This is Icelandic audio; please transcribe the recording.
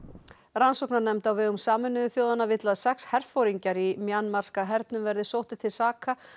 rannsóknarnefnd á vegum Sameinuðu þjóðanna vill að sex herforingjar í hernum verði sóttir til saka